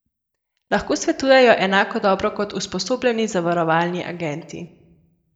Lahko svetujejo enako dobro kot usposobljeni zavarovalni agenti?